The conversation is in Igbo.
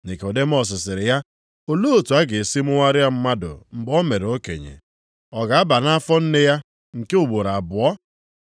Nikọdimọs sịrị ya, “Olee otu a ga-esi mụgharịa mmadụ mgbe o mere okenye? Ọ ga-aba nʼafọ nne ya nke ugboro abụọ?”